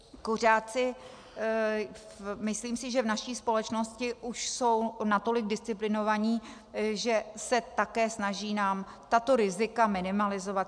Kuřáci, myslím si, že v naší společnosti už jsou natolik disciplinovaní, že se také snaží nám tato rizika minimalizovat.